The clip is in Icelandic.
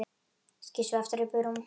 Skýst svo aftur upp í rúm.